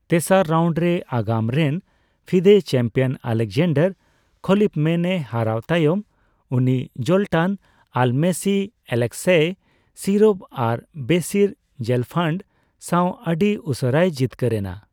ᱛᱮᱥᱟᱨ ᱨᱟᱣᱱᱰ ᱨᱮ ᱟᱜᱟᱢ ᱨᱮᱱ ᱯᱷᱤᱫᱮ ᱪᱮᱢᱯᱤᱭᱚᱱ ᱟᱞᱮᱠᱡᱟᱱᱰᱟᱨ ᱠᱷᱚᱞᱤᱯᱢᱮᱱ ᱮ ᱦᱟᱨᱟᱣ ᱛᱟᱭᱚᱢ, ᱩᱱᱤ ᱡᱳᱞᱴᱟᱱ ᱟᱞᱢᱚᱥᱤ, ᱮᱞᱮᱠᱥᱮᱭ ᱥᱤᱨᱚᱵ ᱟᱨ ᱵᱚᱨᱤᱥ ᱡᱮᱞᱯᱷᱟᱱᱰ ᱥᱟᱣ ᱟᱹᱰᱤ ᱩᱥᱟᱹᱨᱟᱭ ᱡᱤᱛᱠᱟᱹᱨ ᱮᱱᱟ ᱾